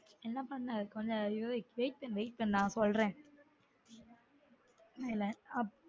என்ன பண்ண கொஞ்சம் அறிவுரை wait பண்ணு wait பண்ணு நான் சொல்றன்